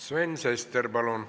Sven Sester, palun!